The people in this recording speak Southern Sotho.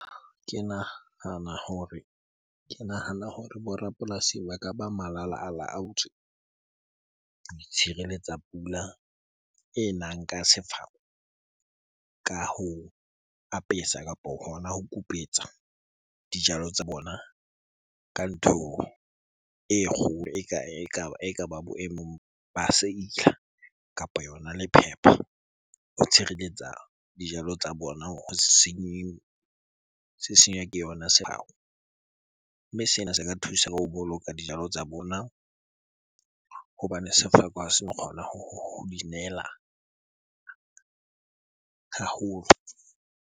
Ke nahana hore bo rapolasi ba ka ba malalaolaotswe ho itshireletsa pula e nang ka sefeko ka ho apesa kapo hona ho kupetsa dijalo tsa bona ka ntho e kgolo ekaba boemong ba kapa yona lephepha ho tshireletsa dijalo tsa bona ho se senywa ke yona . Mme sena se ka thusa ho boloka dijalo tsa bona hobane sefako ha seno kgona ho di nela haholo.